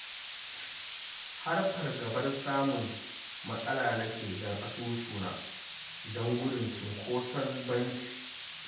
Har fargabar samun matsala nake da asusuna don gudun cinkoson banki